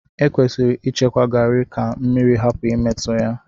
Ekwesịrị ịchekwa Garri ka mmiri hapụ imetụ ya.